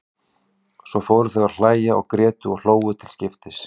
Svo fóru þau að hlæja og grétu og hlógu til skiptis.